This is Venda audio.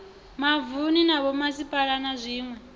mavunu na vhomasipala na zwiwe